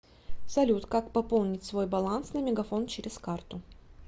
салют как пополнить свой баланс на мегафон через карту